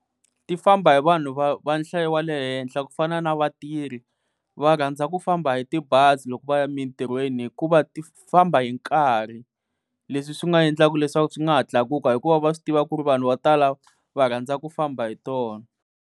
Ti famba hi vanhu va va nhlayo wa le henhla ku fana na vatirhi va rhandza ku famba hi tibazi loko va ya emintirhweni hikuva ti famba hi nkarhi leswi swi nga endlaka leswaku swi nga ha tlakuka hikuva va swi tiva ku ri vanhu vo tala va rhandza ku famba hi tona.